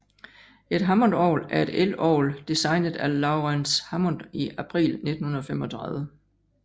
Et hammondorgel er et elorgel designet af Laurens Hammond i april 1935